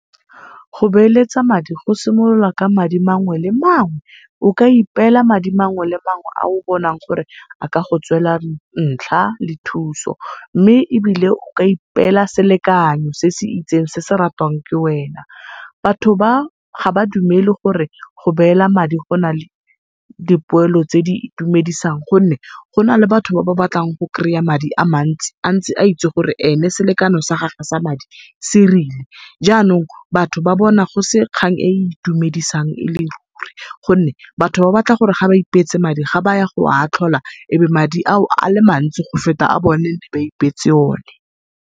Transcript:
Go beeletsa madi go simolola ka madi mangwe le mangwe. O ka ipela madi mangwe le mangwe a o bonang gore a ka go tswela ntlha le thuso, mme ebile o ka ipela selekano se se itseng se se ratwang ke wena. Batho ba ga ba dumele gore go beela madi gona le dipoelo tse di itumedisang gonne, go na le batho ba ba batlang go kry-a madi a mantsi antse a itse gore, ene selekano sa gagwe sereng. Janong batho ba bona go se kgang e e itumedisang e le ruri gonne batho batho ba batla gore ga ba ipeetse madi, ga baya goa tlhola ebe madi ao ale mantsi go feta ba ipeetse o ne.